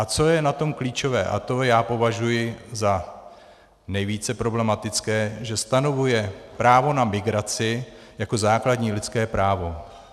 A co je na tom klíčové, a to já považuji za nejvíce problematické, že stanovuje právo na migraci jako základní lidské právo.